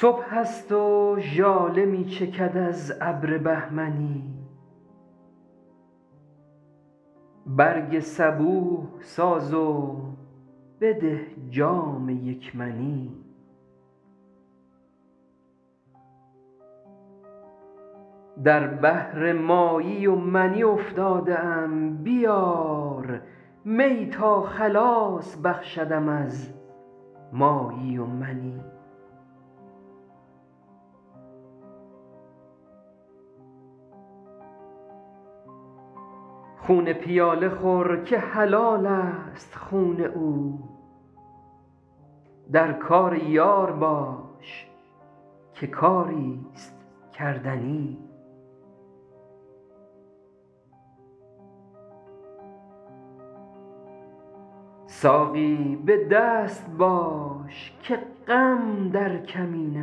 صبح است و ژاله می چکد از ابر بهمنی برگ صبوح ساز و بده جام یک منی در بحر مایی و منی افتاده ام بیار می تا خلاص بخشدم از مایی و منی خون پیاله خور که حلال است خون او در کار یار باش که کاری ست کردنی ساقی به دست باش که غم در کمین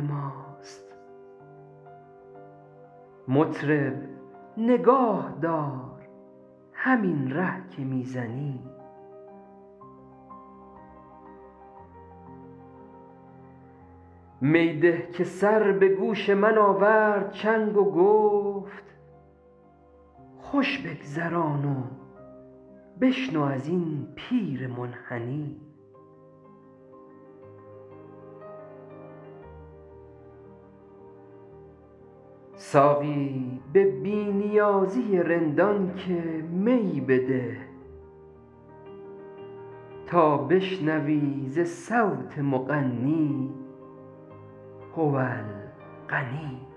ماست مطرب نگاه دار همین ره که می زنی می ده که سر به گوش من آورد چنگ و گفت خوش بگذران و بشنو از این پیر منحنی ساقی به بی نیازی رندان که می بده تا بشنوی ز صوت مغنی هو الغنی